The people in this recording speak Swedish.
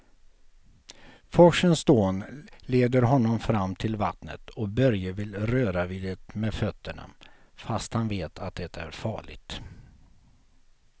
Forsens dån leder honom fram till vattnet och Börje vill röra vid det med fötterna, fast han vet att det är farligt.